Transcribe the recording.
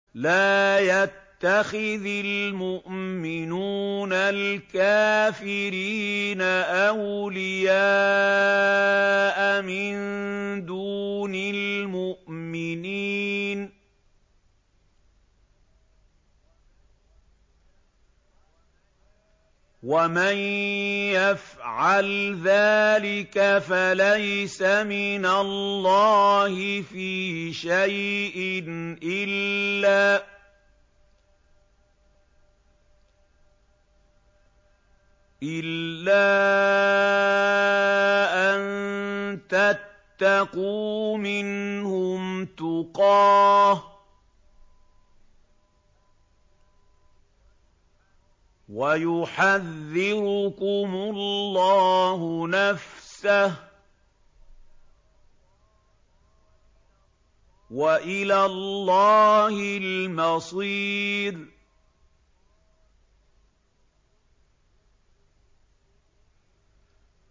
لَّا يَتَّخِذِ الْمُؤْمِنُونَ الْكَافِرِينَ أَوْلِيَاءَ مِن دُونِ الْمُؤْمِنِينَ ۖ وَمَن يَفْعَلْ ذَٰلِكَ فَلَيْسَ مِنَ اللَّهِ فِي شَيْءٍ إِلَّا أَن تَتَّقُوا مِنْهُمْ تُقَاةً ۗ وَيُحَذِّرُكُمُ اللَّهُ نَفْسَهُ ۗ وَإِلَى اللَّهِ الْمَصِيرُ